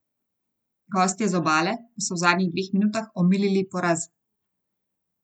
Gostje z Obale pa so v zadnjih dveh minutah omilili poraz.